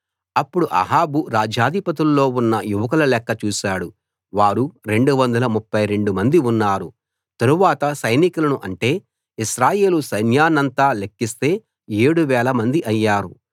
అప్పుడు అహాబు రాజ్యాధిపతుల్లో ఉన్న యువకుల లెక్క చూశాడు వారు 232 మంది ఉన్నారు తరువాత సైనికులను అంటే ఇశ్రాయేలు సైన్యాన్నంతా లెక్కిస్తే ఏడు వేలమంది అయ్యారు